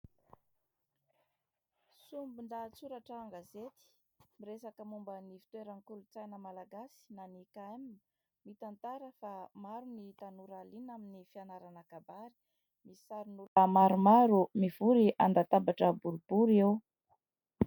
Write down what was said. Sombin-dahatsoratra an-gazety miresaka momban'ny fitoeran'ny kolontsaina malagasy na ny KM : mitantara fa maro ny tanora liana amin'ny fianarana kabary, misy sarin'olona maromaro mivory an-databatra boribory eo.